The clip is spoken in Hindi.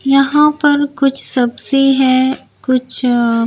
यहां पर कुछ सब्जी है कुछ--